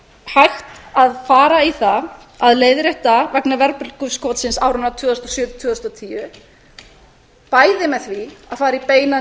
hægt að fara í það að leiðrétta vegna verðbólguskotsins áranna tvö þúsund og sjö til tvö þúsund og tíu bæði með því að fara í beina